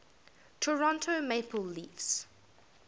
toronto maple leafs